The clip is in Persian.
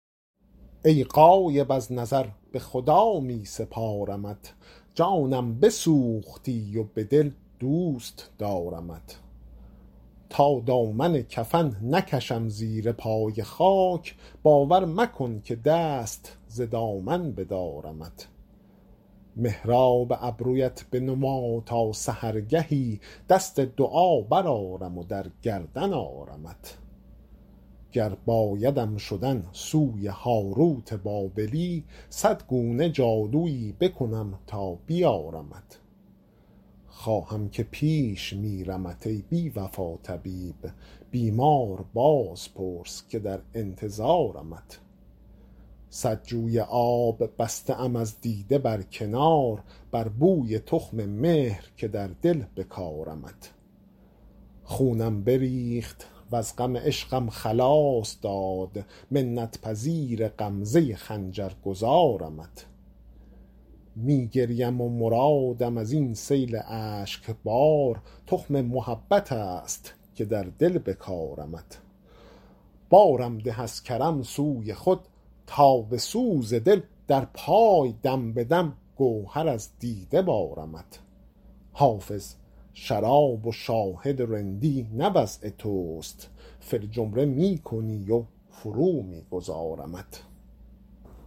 ای غایب از نظر به خدا می سپارمت جانم بسوختی و به دل دوست دارمت تا دامن کفن نکشم زیر پای خاک باور مکن که دست ز دامن بدارمت محراب ابرویت بنما تا سحرگهی دست دعا برآرم و در گردن آرمت گر بایدم شدن سوی هاروت بابلی صد گونه جادویی بکنم تا بیارمت خواهم که پیش میرمت ای بی وفا طبیب بیمار باز پرس که در انتظارمت صد جوی آب بسته ام از دیده بر کنار بر بوی تخم مهر که در دل بکارمت خونم بریخت وز غم عشقم خلاص داد منت پذیر غمزه خنجر گذارمت می گریم و مرادم از این سیل اشک بار تخم محبت است که در دل بکارمت بارم ده از کرم سوی خود تا به سوز دل در پای دم به دم گهر از دیده بارمت حافظ شراب و شاهد و رندی نه وضع توست فی الجمله می کنی و فرو می گذارمت